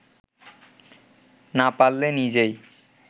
না পারলে নিজেই